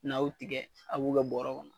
N'aw u tigɛ a b'u kɛ bɔrɔ kɔnɔ